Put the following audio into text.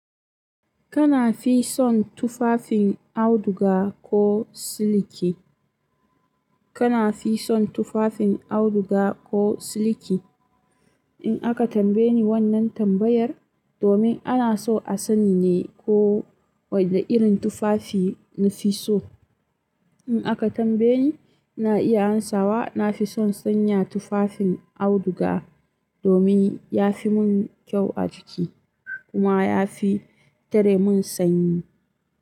Kana fi son tufafin auduga ko siliki? Kana fi son tufafin auduga ko siliki? In aka tambaye ni wannan tambayar domin ana so a sani ne ko wanne irin tufafi nafi so. In aka tambaye ni, ina iya amsawa nafi son sanya tufafin auduga domin ya fi mun kyau a jiki kuma yafi tare mun sanyi.